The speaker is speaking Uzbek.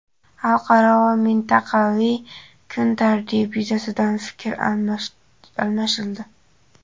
xalqaro va mintaqaviy kun tartibi yuzasidan fikr almashildi.